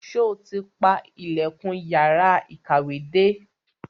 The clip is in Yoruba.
Sọ ti pa ilẹ̀kùn yàrá ìkàwé dé?